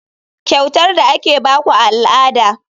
Kyautar da ake ba ku a al'ada.